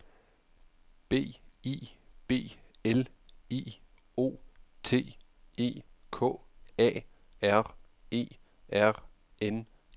B I B L I O T E K A R E R N E